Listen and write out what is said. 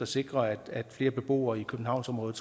sikre at flere beboere i københavnsområdet